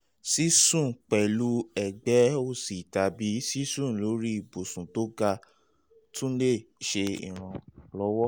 sísùn pẹ̀lú ẹ̀gbẹ́ òsì tàbí sísùn lórí ibùsùn tó ga tún lè ṣe ìrànlọ́wọ́